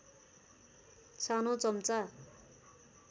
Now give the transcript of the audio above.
सानो चम्चा